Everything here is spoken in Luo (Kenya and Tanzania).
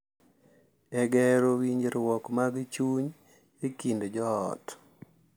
E gero winjruok mag chuny e kind joot.